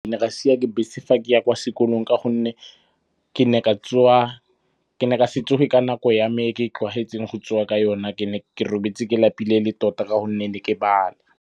Ke ne ka siwa ke bese fa ke ya kwa sekolong ka gonne ke ne ka se tsoge ka nako ya me e ke e tlwaetseng go tsoga ka yona. Ke ne ke robetse ke lapile ele tota ka gonne ne ke bala.